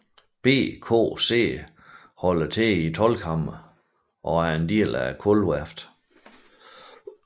BKC holder til i Toldkammeret og er en del af Kulturværftet